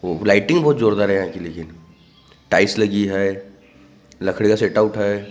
वो लाइटिंग बहुत जोरदार है आदमी के लिए टाइल्स लगी है लकड़े का सेट आउट है।